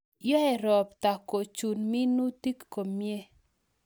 Yoei ropta kochun minutik komie